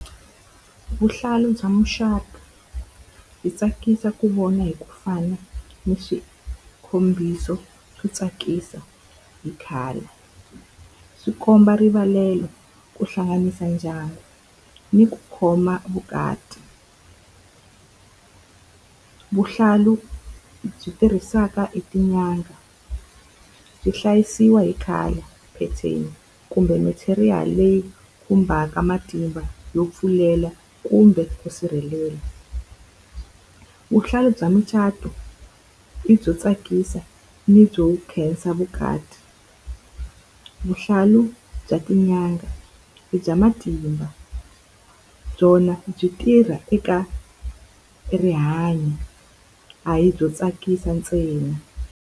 Vuhlalu bya mucato byi tsakisa ku vona hi ku fana ni swo tsakisa hi color. Swi komba rivalelo, ku hlanganisa ndyangu ni ku khoma vukati. Vuhlalu byi tirhisaka hi tin'anga byi hlayisiwa hi color, pheteni kumbe material leyi khumbaka matimba yo pfulela kumbe ku sirhelela. Vuhlalu bya mucato i byo tsakisa ni byo khensa vukati, vuhlalu bya tin'anga i bya matimba byona byi tirha eka rihanyo. A hi byo tsakisa ntsena.